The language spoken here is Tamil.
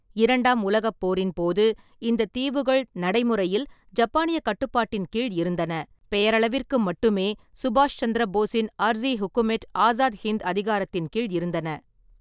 இரண்டாம் உலகப் போரின்போது, இந்தத் தீவுகள் நடைமுறையில் ஜப்பானியக் கட்டுப்பாட்டின் கீழ் இருந்தன, பெயரளவிற்கு மட்டுமே சுபாஷ் சந்திர போஸின் அர்சி ஹுகுமேட் ஆசாத் ஹிந்த் அதிகாரத்தின் கீழ் இருந்தன.